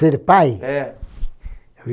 Ser pai? É